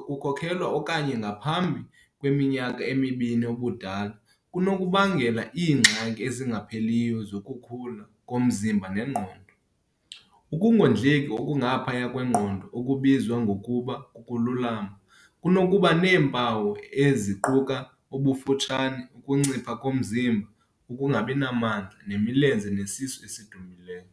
kokukhulelwa okanye ngaphambi kweminyaka emibini ubudala kunokubangela iingxaki ezingapheliyo zokukhula komzimba nengqondo. Ukungondleki okungaphaya kwengqondo, okubizwa ngokuba kukulamba, kunokuba neempawu eziquka- ubufutshane, ukuncipha komzimba, ukungabi namandla, nemilenze nesisu esidumbileyo.